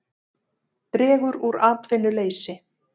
Dregur úr atvinnuleysi